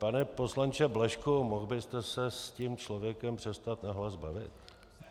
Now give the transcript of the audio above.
Pane poslanče Blažku, mohl byste se s tím člověkem přestat nahlas bavit?